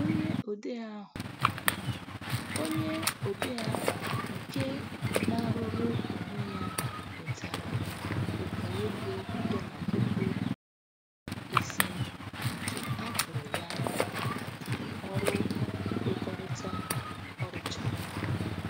Onye odee ahụ Onye odee ahụ nke na-arụrụ onwe ya nwetara ukwu ego dọla puku ise nke a kwụrụ ya maka ọrụ nkwekọrịta ọ rụchara.